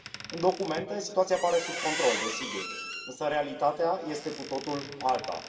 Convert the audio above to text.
În documente, situația pare sub control, desigur, însă realitatea este cu totul alta.